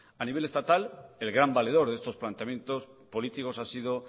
a nivel estatal el gran valedor de estos planteamientos políticos ha sido